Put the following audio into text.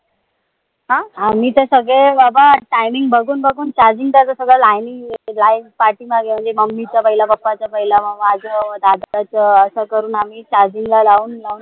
अं आम्हीत सगळे बाबा timing बघून बघून charging करतो. सगळे line नी पाठीमागे mummy चा पहिला मग papa चा पहिला मग माझं मग दादाच असं करून आम्ही charging ला लावून लावून